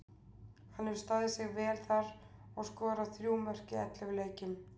Hann hefur staðið sig vel þar og skorað þrjú mörk í ellefu leikjum.